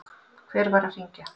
Hver var að hringja?